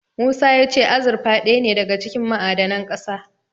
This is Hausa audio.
Musa ya ce azurfa ɗaya ne daga cikin ma'adanan ƙasa.